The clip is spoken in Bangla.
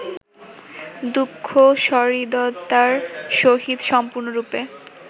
দুঃখ সহৃদয়তার সহিত সম্পূর্ণরূপে